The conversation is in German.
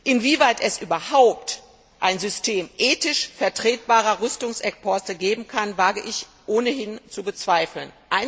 Inwieweit es überhaupt ein System ethisch vertretbarer Rüstungsexporte geben kann, wage ich ohnehin zu bezweifeln.